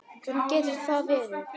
Hvernig getur það verið?